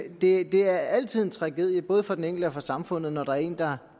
det er altid en tragedie både for den enkelte og for samfundet når der er en der